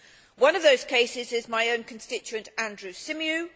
One of those cases is my own constituent Andrew Symeou.